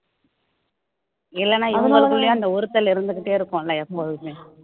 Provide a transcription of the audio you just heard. இல்லைன்னா இவங்களுக்குள்ளேயும் அந்த உறுத்தல் இருந்துக்கிட்டே இருக்கும்ல எப்போதுமே